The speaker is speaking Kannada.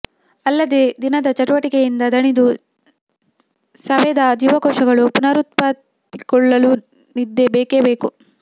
ಅಲ್ಲದೇ ದಿನದ ಚಟುವಟಿಕೆಯಿಂದ ದಣಿದು ಸವೆದ ಜೀವಕೋಶಗಳು ಪುನರುತ್ಪತ್ತಿಗೊಳ್ಳಲೂ ನಿದ್ದೆ ಬೇಕೇ ಬೇಕು